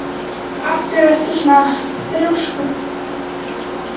Af hverju ertu svona þrjóskur, Hlíf?